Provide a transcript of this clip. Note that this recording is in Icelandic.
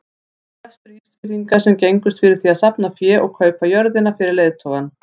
Það voru Vestur-Ísfirðingar sem gengust fyrir því að safna fé og kaupa jörðina fyrir leiðtogann.